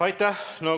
Aitäh!